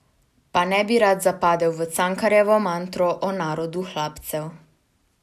Pa ne bi rad zapadel v cankarjansko mantro o narodu hlapcev.